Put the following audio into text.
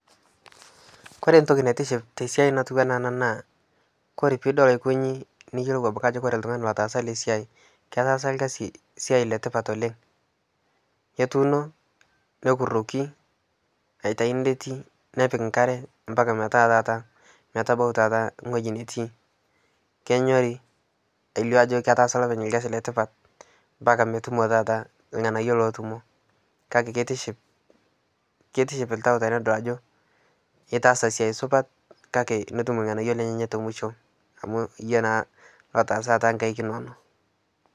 Kore entoki naitiship tesiai natii ena naa Kore pee idol aikonji niyiolou Kore oltungani otaasa ena siai ketaasa esiai etipat oleng, ketuuno nekuroki aitayu metii ,nepiki nkare omatabau taata weji netii. Kenyori elio ajo etaasa loopeny rkasi letipat mpaka metumoki taata irnganayio lootuno .kake keitishipisho latau tenidol ajo itaasa siai supat kake netum lganayio lenyenak temusho amu iyie naa lotaaasa toonkaek inonok.